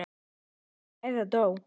Eða dó.